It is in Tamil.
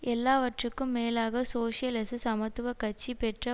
எல்லாவற்றுக்கும் மேலாக சோசியலிச சமத்துவ கட்சி பெற்ற